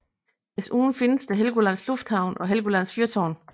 Desuden findes her Helgolands lufthavn og Helgolands fyrtårn